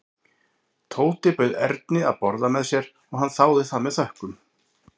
Tóti bauð Erni að borða með sér og hann þáði það með þökkum.